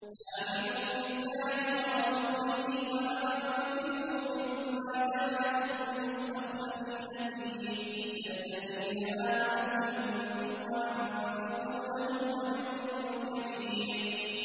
آمِنُوا بِاللَّهِ وَرَسُولِهِ وَأَنفِقُوا مِمَّا جَعَلَكُم مُّسْتَخْلَفِينَ فِيهِ ۖ فَالَّذِينَ آمَنُوا مِنكُمْ وَأَنفَقُوا لَهُمْ أَجْرٌ كَبِيرٌ